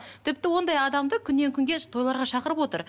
тіпті ондай адамды күннен күнге тойларға шақырып отыр